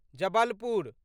Jabalpur